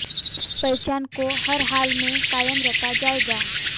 इस पहचान को हर हाल में कायम रखा जायेगा